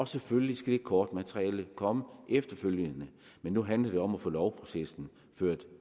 selvfølgelig skal det kortmateriale komme efterfølgende men nu handler det om at få lovprocessen ført